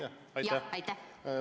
Aitäh!